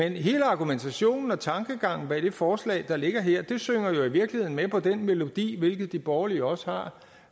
og hele argumentationen og tankegangen bag det forslag der ligger her synger jo i virkeligheden med den melodi hvilket de borgerlige også har